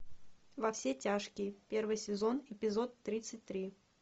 во все тяжкие первый сезон эпизод тридцать три